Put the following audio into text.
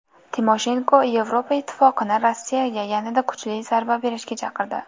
Timoshenko Yevropa Ittifoqini Rossiyaga yanada kuchli zarba berishga chaqirdi.